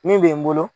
Min bɛ n bolo